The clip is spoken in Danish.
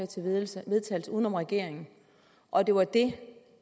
til vedtagelse uden om regeringen og at det var det